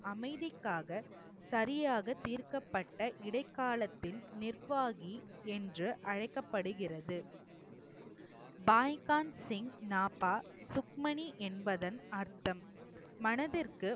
அமைதிக்காக சரியாக தீர்க்கப்பட்ட இடைக்காலத்தின் நிர்வாகி என்று அழைக்கப்படுகிறது சுக்மணி என்பதன் அர்த்தம் மனதிற்கு